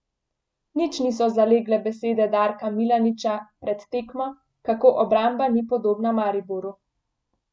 Nič niso zalegle besede Darka Milaniča pred tekmo, kako obramba ni podobna Mariboru.